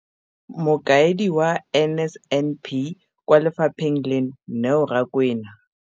Mokaedi wa NSNP kwa lefapheng leno, Neo Rakwena.